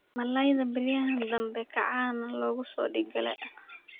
Malaydha beryahan dambe kacan lokusodigle.